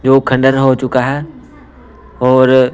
जो खंडन हो चुका है और--